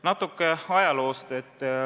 Natuke ajaloost.